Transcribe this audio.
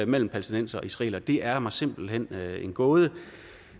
mellem palæstinensere og israelere det er mig simpelt hen en gåde